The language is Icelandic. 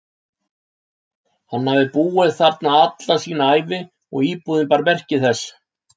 Hann hafði búið þarna alla sína ævi og íbúðin bar þess meski.